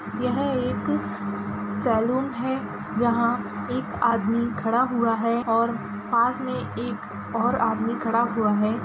यह एक सैलून है| जहाँ एक आदमी खड़ा हुआ है और पास में एक और आदमी खड़ा हुआ है।